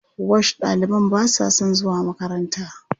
Wash ɗaliban ba sa son zuwa makaranta.